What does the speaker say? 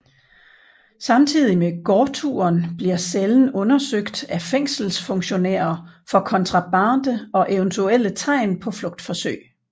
Samtidig med gårdturen bliver cellen undersøgt af fængselsfunktionærer for kontrabande og eventuelle tegn på flugtforsøg